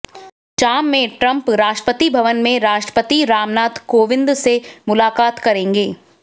शाम में ट्रंप राष्ट्रपति भवन में राष्ट्रपति रामनाथ कोविंद से मुलाकात करेंगे